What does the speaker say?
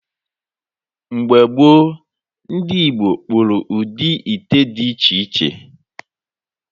Mgbe gboo, ndị Igbo kpụrụ ụdị ite dị iche iche.